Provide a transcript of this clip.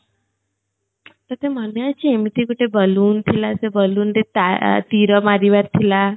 ତତେ ମନେ ଅଛି ଏମିତି ଗଟେ balloon ଥିଲା ସେ balloon ରେ ତା ଆ ତୀର ମାରିବାର ଥିଲା